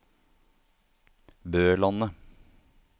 Bølandet